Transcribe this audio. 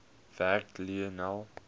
werk lionel